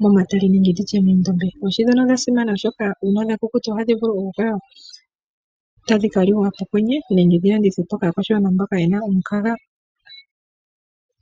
momatale nenge moondombe. Oohi ndhono odha simana oshoka ohadhi vulu okukukutikwa dhika liwe pokwenye nenge dhi landithwepo kaakwashigwana mboka ye na omukaga.